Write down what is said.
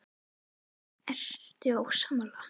Ertu ósammála?